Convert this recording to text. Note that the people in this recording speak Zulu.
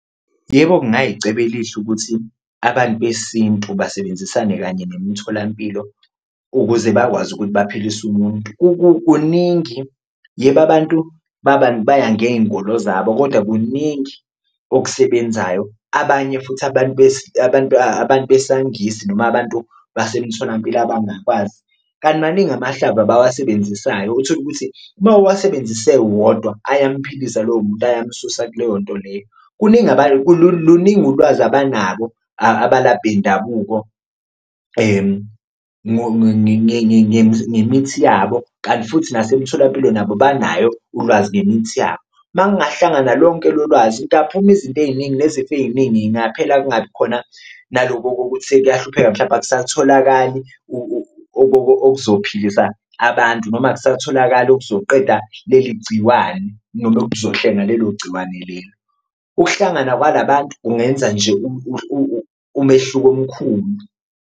Yebo, kungayicebo elihle ukuthi abantu besintu basebenzisane kanye nemitholampilo ukuze bakwazi ukuthi baphilise umuntu, kuningi yebo abantu baya ngey'nkolo zabo koda kuningi okusebenzayo, abanye futhi abantu abantu abantu besaNgisi noma abantu basemtholampilo abangakwazi. Kanti maningi amahlaba abawasebenzisayo, uthole ukuthi uma uwasebenzise wodwa ayamphilisa lowo muntu ayamsusa kuleyo nto leyo kuningi luningi ulwazi abanabo abalaphi bendabuko ngemithi yabo, kanti futhi nasemtholampilo nabo banayo ulwazi ngemithi yabo. Uma kungahlangana lonke lo lwazi kungaphuma izinto ey'ningi nezifo ey'ningi y'ngaphela, kungabi khona naloko okokuthi sekuyahlupheka mhlawumpe akasatholakali okuzophilisa abantu noma akasatholakali okuzoqeda leli gciwane noma okuzohlenga lelo gciwane lelo. Ukuhlangana kwala bantu kungenza nje umehluko omkhulu.